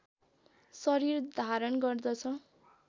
शरीर धारण गर्दछ